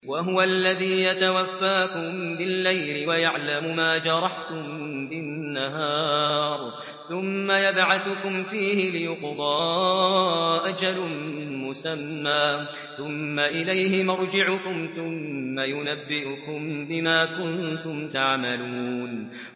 وَهُوَ الَّذِي يَتَوَفَّاكُم بِاللَّيْلِ وَيَعْلَمُ مَا جَرَحْتُم بِالنَّهَارِ ثُمَّ يَبْعَثُكُمْ فِيهِ لِيُقْضَىٰ أَجَلٌ مُّسَمًّى ۖ ثُمَّ إِلَيْهِ مَرْجِعُكُمْ ثُمَّ يُنَبِّئُكُم بِمَا كُنتُمْ تَعْمَلُونَ